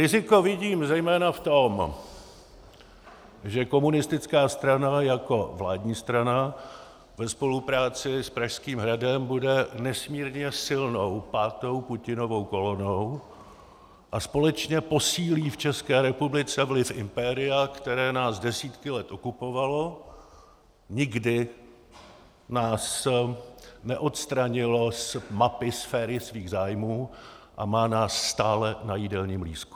Riziko vidím zejména v tom, že komunistická strana jako vládní strana ve spolupráci s Pražským hradem bude nesmírně silnou pátou Putinovou kolonou a společně posílí v České republice vliv impéria, které nás desítky let okupovalo, nikdy nás neodstranilo z mapy sféry svých zájmů a má nás stále na jídelním lístku.